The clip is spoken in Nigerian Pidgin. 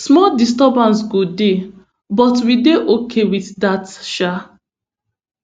small disturbance go dey but we dey okay wit dat um